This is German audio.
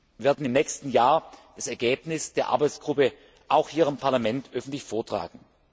Wir werden im nächsten Jahr das Ergebnis der Arbeitsgruppe auch hier im Parlament öffentlich vortragen.